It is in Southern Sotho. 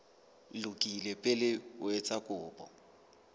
lokile pele o etsa kopo